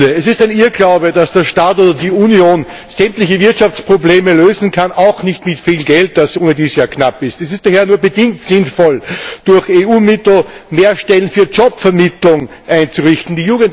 Es ist ein Irrglaube, dass der Staat oder die Union sämtliche Wirtschaftsprobleme lösen kann, auch nicht mit viel Geld, das ohnedies ja knapp ist. Es ist daher nur bedingt sinnvoll, durch EU Mittel mehr Stellen für Jobvermittlung einzurichten.